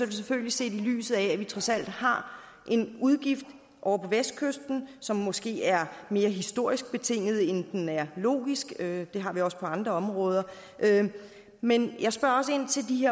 det selvfølgelig set i lyset af at vi trods alt har en udgift ovre på vestkysten som måske er mere historisk betinget end den er logisk det har vi også på andre områder men jeg spørger også ind til de